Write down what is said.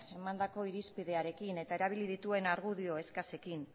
emandako irizpideekin eta erabili dituen argudio eskasekin